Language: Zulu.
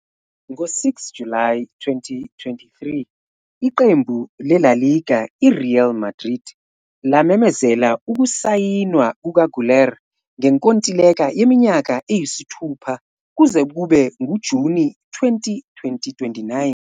Ngo-6 July 2023, iqembu le-La Liga i-Real Madrid lamemezela ukusayinwa kukaGüler ngenkontileka yeminyaka eyisithupha kuze kube nguJuni 2029.